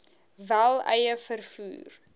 wel eie vervoer